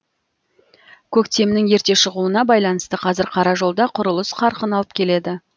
көктемнің ерте шығуына байланысты қазір қара жолда құрылыс қарқын алып келеді